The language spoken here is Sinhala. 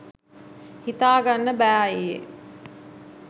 හිතා ගන්න බෑ අයියේ.